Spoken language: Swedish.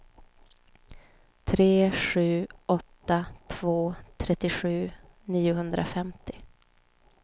tre sju åtta två trettiosju niohundrafemtio